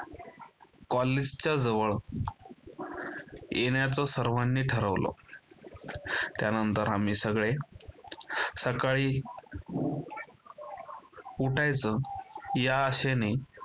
कॉलेजच्या जवळ येण्याचा सर्वांनी ठरवलं. त्यानंतर आम्ही सगळे सकाळी उठायचं या आशेने